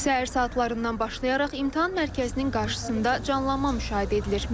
Səhər saatlarından başlayaraq imtahan mərkəzinin qarşısında canlanma müşahidə edilir.